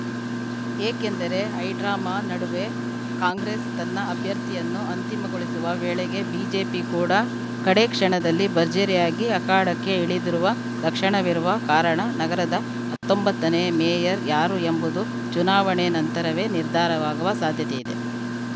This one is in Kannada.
ಏಕೆಂದರೆ ಹೈಡ್ರಾಮಾ ನಡುವೆ ಕಾಂಗ್ರೆಸ್‌ ತನ್ನ ಅಭ್ಯರ್ಥಿಯನ್ನು ಅಂತಿಮಗೊಳಿಸುವ ವೇಳೆಗೆ ಬಿಜೆಪಿ ಕೂಡ ಕಡೆ ಕ್ಷಣದಲ್ಲಿ ಭರ್ಜರಿಯಾಗಿ ಅಖಾಡಕ್ಕೆ ಇಳಿದಿರುವ ಲಕ್ಷಣವಿರುವ ಕಾರಣ ನಗರದ ಹತ್ತೊಂಬತ್ತನೇ ಮೇಯರ್‌ ಯಾರು ಎಂಬುದು ಚುನಾವಣೆ ನಂತರವೇ ನಿರ್ಧಾರವಾಗುವ ಸಾಧ್ಯತೆಯಿದೆ